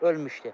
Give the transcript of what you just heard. Ölmüşdü.